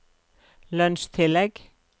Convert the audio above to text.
lønnstillegg